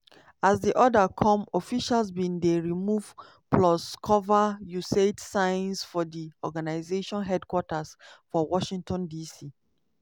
as di order come officials bin dey remove plus cover usaid signs for di organisation headquarters for washington dc.